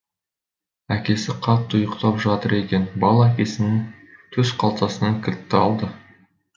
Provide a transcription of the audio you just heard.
әкесі қатты ұйықтап жатыр екен бала әкесінің төсқалтасынан кілтті алды